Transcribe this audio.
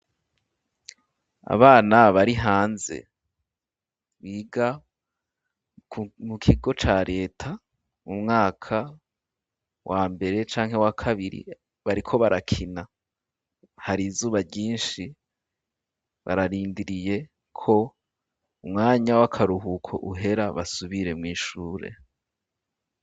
Abana bari hanze biga mu kigo ca reta mu mwaka wambere canke wakabiri bariko barakina hari izuba ryishi bararindiriye ko umwanya w'akaruhuko uhera basubire mw'ishure